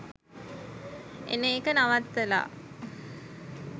එන එක නවත්තලා.